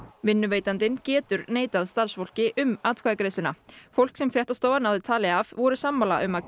vinnuveitandi getur neitað starfsfólki um atkvæðagreiðsluna fólk sem fréttastofa náði tali af var sammála um að